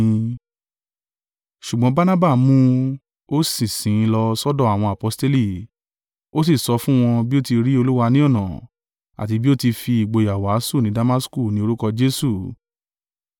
Ṣùgbọ́n Barnaba mú un, ó sì sìn ín lọ sọ́dọ̀ àwọn aposteli, ó sì sọ fún wọn bí ó ti rí Olúwa ní ọ̀nà, àti bí ó ti fi ìgboyà wàásù ní Damasku ní orúkọ Jesu.